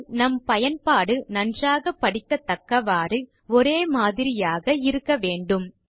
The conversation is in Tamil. ஆனால் நம் பயன்பாடு நன்றாக படிக்கதக்கவாறு ஒரேமாதிரியாக இருக்க வேண்டும்